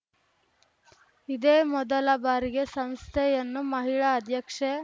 ಇದೇ ಮೊದಲ ಬಾರಿಗೆ ಸಂಸ್ಥೆಯನ್ನು ಮಹಿಳಾ ಅಧ್ಯಕ್ಷೆ